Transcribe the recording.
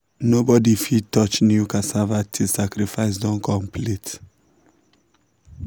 nobody fit touch new cassava tilll sacrifice don complete.